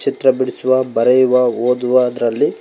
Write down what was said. ಚಿತ್ರ ಬಿಡಿಸುವ ಬರೆಯುವ ಓದುವ ಅದರಲ್ಲಿ--